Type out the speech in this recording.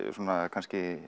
kannski